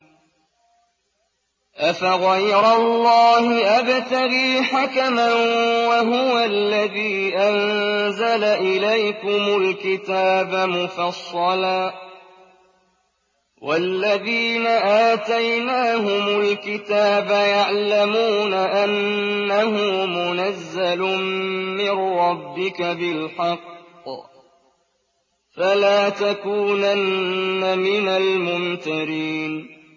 أَفَغَيْرَ اللَّهِ أَبْتَغِي حَكَمًا وَهُوَ الَّذِي أَنزَلَ إِلَيْكُمُ الْكِتَابَ مُفَصَّلًا ۚ وَالَّذِينَ آتَيْنَاهُمُ الْكِتَابَ يَعْلَمُونَ أَنَّهُ مُنَزَّلٌ مِّن رَّبِّكَ بِالْحَقِّ ۖ فَلَا تَكُونَنَّ مِنَ الْمُمْتَرِينَ